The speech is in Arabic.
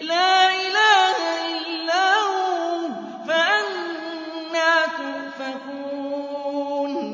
لَّا إِلَٰهَ إِلَّا هُوَ ۖ فَأَنَّىٰ تُؤْفَكُونَ